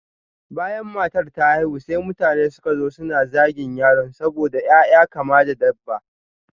Bayan matar ta haihu, sai mutane suka zo suna zagin yaron saboda ƴaƴa kama da dabba.